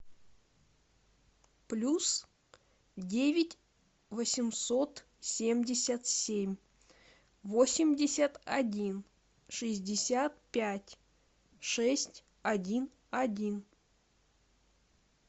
плюс девять восемьсот семьдесят семь восемьдесят один шестьдесят пять шесть один один